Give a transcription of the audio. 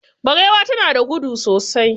Barewa na da gudu sosai.